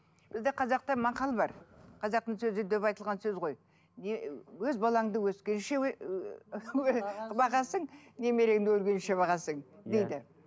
бізде қазақта мақал бар қазақтың сөзі деп айтылған сөз ғой өз балаңды өскенше бағасың немереңді өлгенше бағасың дейді